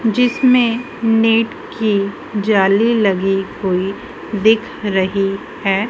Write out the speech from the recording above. जिसमें नेट की जाली लगी हुई दिख रही है।